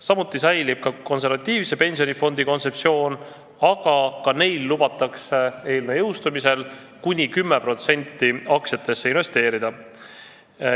Samuti säilib konservatiivse pensionifondi kontseptsioon, aga neilgi lubatakse eelnõu jõustumise korral investeerida kuni 10% aktsiatesse.